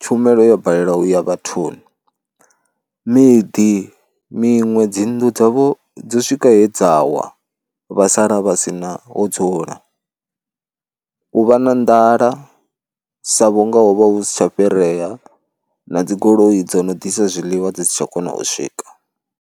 tshumelo ya balelwa u ya vhathuni, miḓi miṅwe dzinnḓu dzavho dzo swika he dza wa vha sala vha si na ho dzula, u vha na nḓala sa vhunga ho vha hu si tsha fhirea na dzigoloi dzo no ḓisa zwiḽiwa dzi si tsha kona u swika.